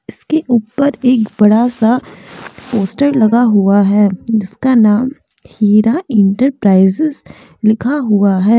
इसके ऊपर एक बड़ा सा पोस्टर लगा हुआ है जिसका नाम हीरा एंटरप्राइजेज लिखा हुआ है ।